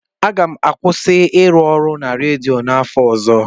M ga-akwụsị ịrụ ọrụ na redio n'afọ ọzọ.